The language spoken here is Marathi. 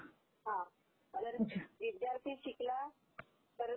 हा ..जर विद्यार्थी शिकला तरचं..